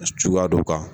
Suguya dɔ kan